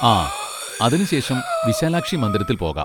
ആ, അതിന് ശേഷം വിശാലാക്ഷി മന്ദിരത്തിൽ പോകാം.